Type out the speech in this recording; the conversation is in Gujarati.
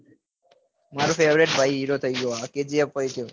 મારો favorite ભાઈ hero થઇ ગયો આ movie પહી તો